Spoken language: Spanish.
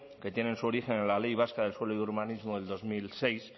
que tienen su origen en la ley vasca del suelo y urbanismo del dos mil seis